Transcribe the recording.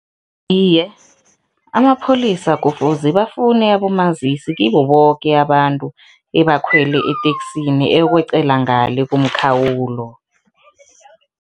Iye, amapholisa kufuze bafune abomazisi kibo boke abantu ebakhwele eteksini eyokweqela ngale komkhawulo.